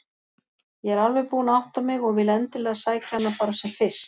Ég er alveg búin að átta mig og vil endilega sækja hana bara sem fyrst.